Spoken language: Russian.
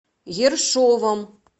ершовом